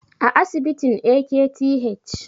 a asibitin AKTH